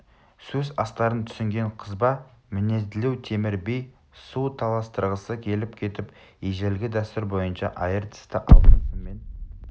сөз астарын түсінген қызба мінезділеу темір би сөз таластырғысы келіп кетіп ежелгі дәстүр бойынша айыр тісті алтын сыммен